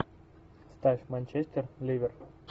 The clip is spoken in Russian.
ставь манчестер ливер